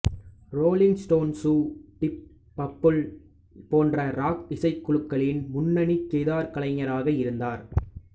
rolling Stones Deep Purple போன்ற rock இசைக்குழுக்களின் முன்னணி கிதார் கலைஞராக இருந்தார்